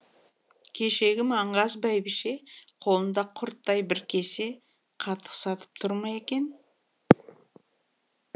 кешегі маңғаз бәйбіше қолында құрттай бір кесе қатық сатып тұр ма екен